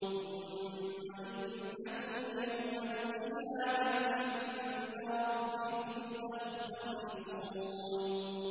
ثُمَّ إِنَّكُمْ يَوْمَ الْقِيَامَةِ عِندَ رَبِّكُمْ تَخْتَصِمُونَ